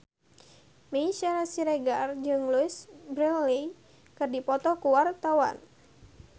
Meisya Siregar jeung Louise Brealey keur dipoto ku wartawan